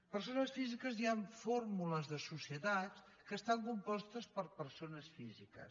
hi han fórmules de societats que estan compostes per persones físiques